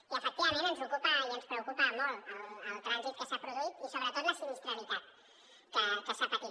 i efectivament ens ocupa i ens preocupa molt el trànsit que s’ha produït i sobretot la sinistralitat que s’ha patit